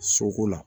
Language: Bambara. Soko la